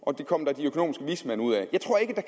og det kom der de økonomiske vismænd ud af jeg tror ikke at